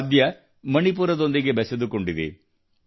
ಈ ವಾದ್ಯ ಮಣಿಪುರದೊಂದಿಗೆ ಬೆಸೆದುಕೊಂಡಿದೆ